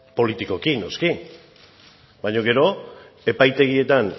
politikoki noski baina gero epaitegietan